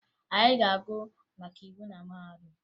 Anyị ga-agụ maka iwu na mahadum